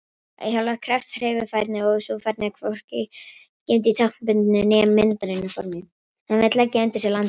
Að hjóla krefst hreyfifærni og er sú færni hvorki geymd í táknbundnu né myndrænu formi.